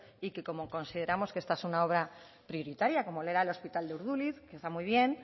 y que como consideramos que esta es una obra prioritaria como lo era el hospital de urduliz que está muy bien